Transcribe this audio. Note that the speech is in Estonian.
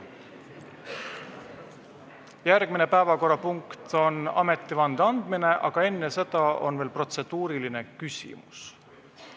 Järgmine päevakorrapunkt on ametivande andmine, aga enne seda on protseduuriline küsimus.